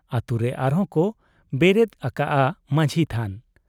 ᱟᱹᱛᱩ ᱨᱮ ᱟᱨᱦᱚᱸ ᱠᱚ ᱵᱮᱨᱮᱫ ᱟᱠᱟᱜ ᱟ ᱢᱟᱹᱡᱷᱤ ᱛᱷᱟᱱ ᱾